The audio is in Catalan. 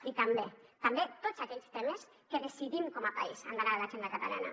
i també també tots aquells temes que decidim com a país que han d’anar a l’agenda catalana